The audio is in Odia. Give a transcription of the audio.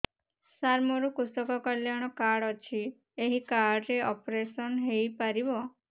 ସାର ମୋର କୃଷକ କଲ୍ୟାଣ କାର୍ଡ ଅଛି ଏହି କାର୍ଡ ରେ ଅପେରସନ ହେଇପାରିବ